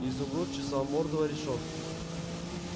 изумруд чесал морду о решётку